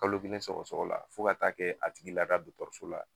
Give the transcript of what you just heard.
Kalo kelen sɔgɔsɔgɔ la, fo ka taa kɛ a tigi lada dɔgɔtɔrɔso la.